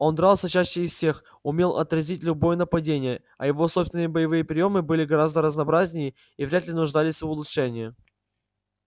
он дрался чаще их всех умел отразить любое нападение а его собственные боевые приёмы были гораздо разнообразнее и вряд ли нуждались в улучшении